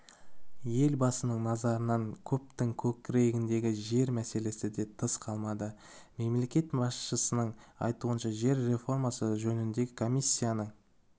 елбасының назарынан көптің көкейіндегі жер мәселесі де тыс қалмады мемлекет басшысының айтуынша жер реформасы жөніндегі комиссияның